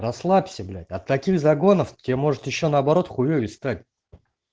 расслабься блять от таких загонов тебе может ещё наоборот хуёвей стать